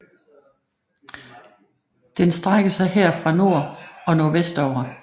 Den strækker sig her fra nord og nordvestover